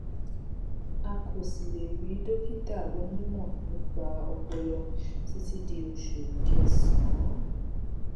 a kò sì lè rí dókítà onímọ nípa ọpọlọ títí di oṣù kẹsànán